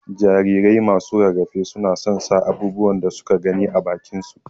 jarirai masu rarafe su na son sa abubuwan da suka gani ã bakin su.